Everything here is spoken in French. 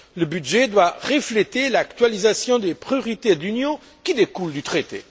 Le budget doit refléter l'actualisation des priorités de l'Union qui découle du traité.